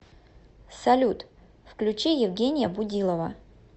салют включи евгения будилова